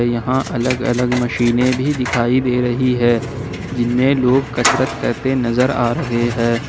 यहां अलग अलग मशीने भी दिखाई दे रही है जिनमें लोग कसरत करते नजर आ रहे हैं।